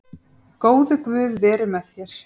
Góði Guð veri með þér.